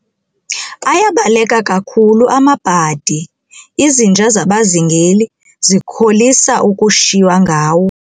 Ayabaleka kakhulu amabhadi, izinja zabazingeli zikholisa ukushiywa ngawo.